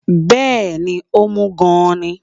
Bẹẹni, ó mú gan-an ni